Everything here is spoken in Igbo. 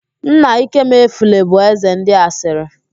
Nna Ikemefule bụ ézē ndị asịrị